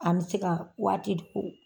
An bɛ se ka waati